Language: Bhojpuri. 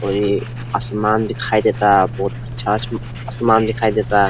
और ये आसमान दिखाई देता। बहुत अच्छा आसमान दिखाई देता।